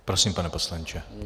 Prosím, pane poslanče.